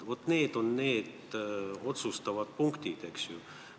Vaat need on otsustavad punktid, eks ju.